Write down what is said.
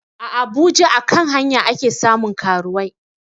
A abuja a kan hanya ake samun karuwai